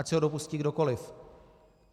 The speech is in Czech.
Ať se ho dopustí kdokoli.